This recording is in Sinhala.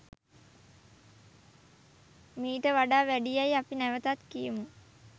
මීට වඩා වැඩි යැයි අපි නැවතත් කියමු.